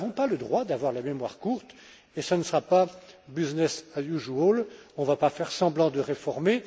Nous n'avons pas le droit d'avoir la mémoire courte et ce ne sera pas business as usual On ne va pas faire semblant de réformer.